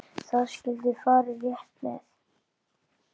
Það skyldi farið rétt með.